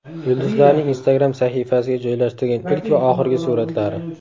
Yulduzlarning Instagram sahifasiga joylashtirgan ilk va oxirgi suratlari .